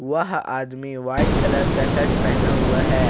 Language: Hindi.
वह आदमी व्हाइट कलर का शर्ट पहना हुआ है।